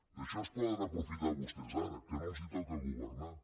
d’això se’n poden aprofitar vostès ara que no els toca governar